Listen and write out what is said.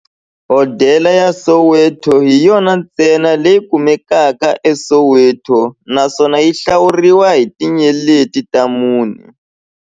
Hodela ya Soweto hi yona ntsena leyi kumekaka eSoweto, naswona yi hlawuriwa hi tinyeleti ta mune.